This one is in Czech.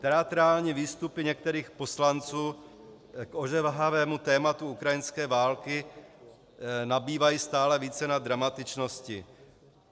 Teatrální výstupy některých poslanců k ožehavému tématu ukrajinské války nabývají stále více na dramatičnosti.